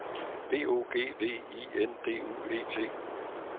B O G V I N D U E T